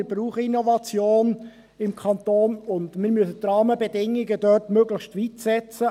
Wir brauchen im Kanton Innovation, und wir müssen die Rahmenbedingungen dort möglichst weit setzen.